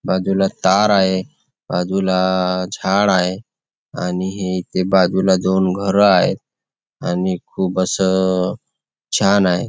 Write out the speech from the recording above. बाजूला तार आहे बाजूला झाड आहे आणि हे इथे बाजूला दोन घर आहेत आणि खूप असं छान आहे.